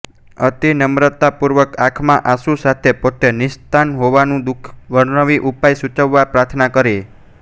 અતિ નમ્રતા પૂર્વક આંખમાં આંસુ સાથે પોતે નિઃસંતાન હોવાનું દુઃખ વર્ણવી ઉપાય સૂચવવા પ્રાર્થના કરી